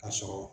Ka sɔrɔ